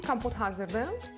Bizim kompot hazırdır.